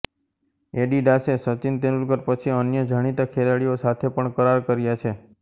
એડિડાસે સચિન તેંડુલકર પછી અન્ય જાણીતા ખેલાડીઓ સાથે પણ કરાર કર્યા છે